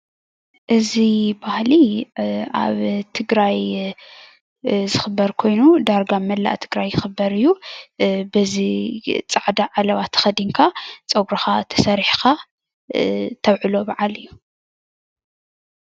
እዚ ባህሊ ኣብ ትግራይ ዝኽበር ኮይኑ ዳርጋ ኣብ መላእ ትግራይ ይኽበር እዩ፡፡ በዚ ፃዕዳ ዓለባ ተኸዲንካ ፀጉርኻ ተሰሪሕኻ ተዉዕሎ በዓል እዩ፡፡